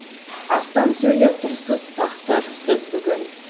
астам сөйлеп тұрсыз тақсыр сіз бүгін